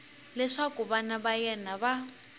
leswaku vana va yena va